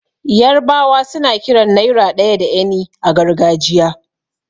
Yarbawa suna kiran naira ɗaya da 'eni' a gargajiya.